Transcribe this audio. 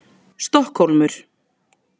Stokkhólmur